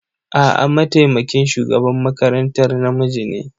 A'a, mataimakin shugaban makarantar namiji ne.